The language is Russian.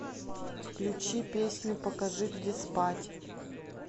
включи песню покажи где спать